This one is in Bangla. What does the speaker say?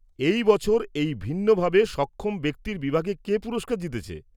-এই বছর এই ভিন্নভাবে সক্ষম ব্যক্তির বিভাগে কে পুরস্কার জিতেছে?